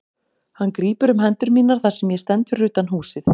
Hann grípur um hendur mínar þar sem ég stend fyrir utan húsið.